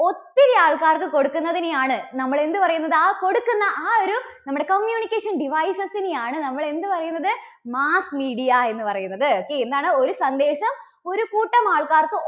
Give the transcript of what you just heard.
ഒത്തിരി ആൾക്കാർക്ക് കൊടുക്കുന്നതിനെ ആണ് നമ്മള് എന്തു പറയുന്നത്? ആ കൊടുക്കുന്ന ആ ഒരു നമ്മുടെ communication devices നെ ആണ് നമ്മള് എന്തു പറയുന്നത്? mass media എന്നുപറയുന്നത് അല്ലേ? okay എന്താണ് ഒരു സന്ദേശം ഒരുകൂട്ടം ആൾക്കാർക്ക്